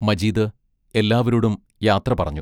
മജീദ് എല്ലാവരോടും യാത്ര പറഞ്ഞു.